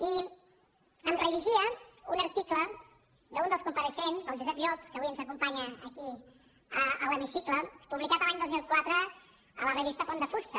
i em rellegia un article d’un dels compareixents el josep llop que avui ens acompanya aquí a l’hemicicle publicat l’any dos mil quatre en la revista pont de fusta